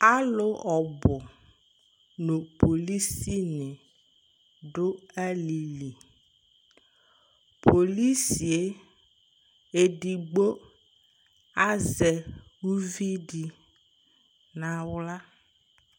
Alʋ ɔbʋ nʋ polisinɩ dʋ alɩli Polisi yɛ edigbo azɛ uvi dɩ nʋ aɣla